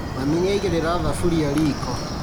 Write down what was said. Mami nĩaigĩrĩra thaburia riko